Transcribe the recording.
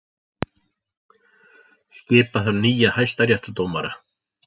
Skipa þarf nýja hæstaréttardómara